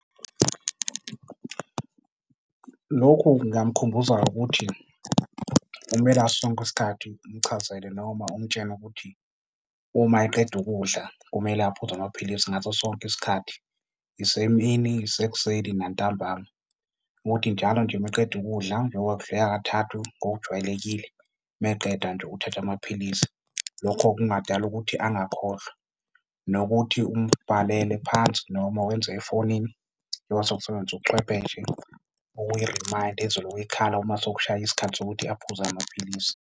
Lokhu ngingamkhumbuza ngokuthi kumele ngaso sonke isikhathi umchazele noma umtshele ukuthi uma eqeda ukudla kumele aphuze amaphilisi ngaso sonke isikhathi, isemini, isekuseni nantambama. Ukuthi njalo nje meqeda ukudla njengoba kudlika kathathu ngokujwayelekile, meqeda nje uthatha amaphilisi. Lokho kungadala ukuthi angakhohlwa. Nokuthi umbhalele phansi noma wenze efonini njengoba sekusebenziswa ubuchwepheshe, okuyi-reminder ezolokhu ikhala uma sokushaye isikhathi sokuthi aphuze amaphilisi.